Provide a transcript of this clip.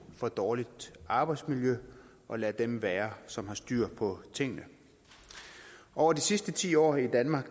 for dårligt arbejdsmiljø og lade dem være som har styr på tingene over de sidste ti år i danmark